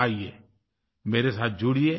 आइये मेरे साथ जुड़िये